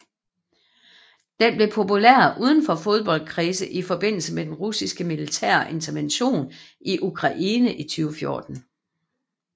Den blev populær udenfor fodboldkredse i forbindelse med den russiske militære intervention i Ukraine i 2014